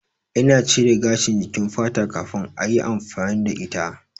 Ina cire gashin jikin fata kafin ayi amfani da ita